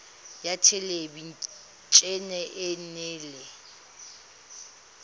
ya thelebi ene e neela